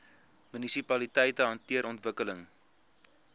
munisipaliteite hanteer ontwikkeling